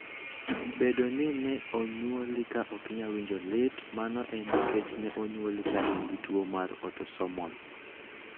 Bedo ni ne onyuoli ka ok inyal winjo lit, mano en nikech ne onyuoli ka in gi tuwo mar autosomal.